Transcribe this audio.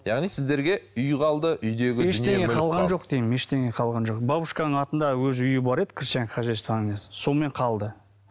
яғни сіздерге үй қалды үйдегі ештеңе қалған жоқ деймін ештеңе қалған жоқ бабушканың атында өзі үйі бар еді крестьянское хозяствоның несі сонымен қалды